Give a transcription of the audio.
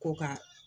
Ko ka